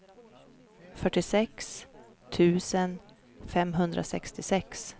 fyrtiosex tusen femhundrasextiosex